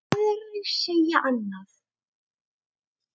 Aðrir segja annað.